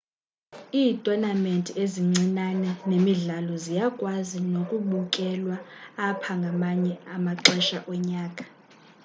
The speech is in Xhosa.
iithonamenti ezincincane nemidlalo ziyakwazi nokubukelwa apha ngamanye amaxesha onyaka